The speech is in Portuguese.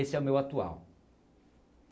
Esse é o meu atual.